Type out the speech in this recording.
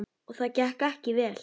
Og gekk það ekki vel.